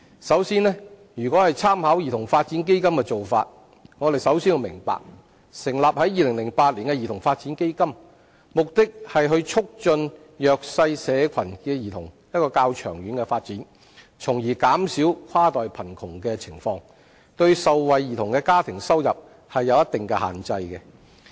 首先，如果參考兒童發展基金的做法，我們首先要明白，成立於2008年的兒童發展基金旨在促進弱勢社群的兒童較長遠的發展，從而減少跨代貧窮的情況，對受惠兒童的家庭收入有一定限制。